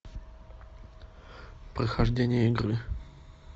прохождение игры